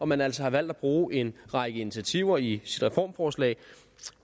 man altså har valgt at bruge en række initiativer i sit reformforslag